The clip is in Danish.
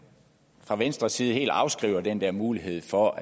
fra venstres side helt afskriver den der mulighed for